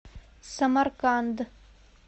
самарканд